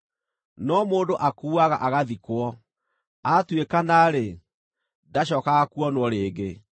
No mũndũ akuuaga agathikwo; aatuĩkana-rĩ, ndacookaga kuonwo rĩngĩ.